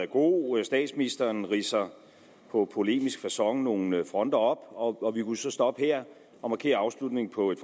god statsministeren ridser på polemisk facon nogle fronter op og og vi kunne så stoppe her og markere afslutningen på et